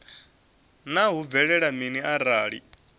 naa hu bvelela mini arali